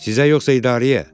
Sizə yoxsa idarəyə?